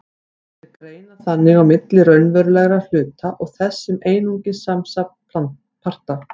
Þeir greina þannig á milli raunverulegra hluta og þess sem er einungis samansafn parta.